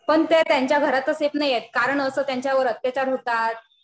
पण त्या त्यांच्या घरातच सेफ नाहीयेत. कारण असं त्यांच्यावर अत्याचार होतात.